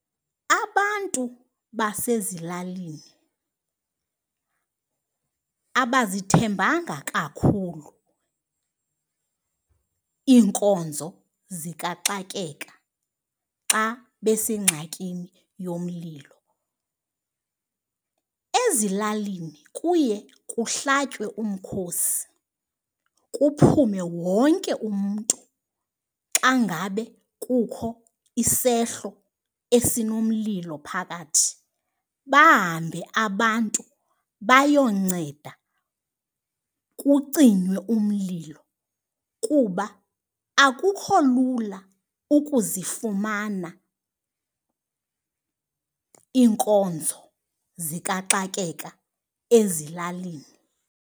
Abantu basezilalini abazithembanga kakhulu iinkonzo zikaxakeka xa besengxakini yomlilo. Ezilalini kuye kuhlatywe umkhosi kuphume wonke umntu xa ngabe kukho isehlo esinomlilo phakathi. Bahambe abantu bayonceda kucinywe umlilo kuba akukho lula ukuzifumana iinkonzo zikaxakeka ezilalini.